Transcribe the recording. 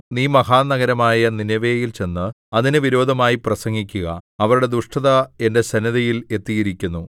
നീ മഹാനഗരമായ നീനെവേയിൽ ചെന്ന് അതിന് വിരോധമായി പ്രസംഗിക്കുക അവരുടെ ദുഷ്ടത എന്റെ സന്നിധിയിൽ എത്തിയിരിക്കുന്നു